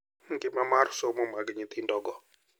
Ngima mar somo mag nyithindogo.